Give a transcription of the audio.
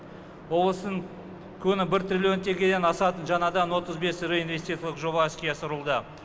облыстың күны бір триллион теңгеден асатын жаңадан отыз бес реинвестициялық жоба іске асырылды